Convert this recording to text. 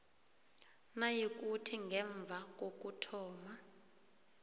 nayikuthi ngemva kokuthoma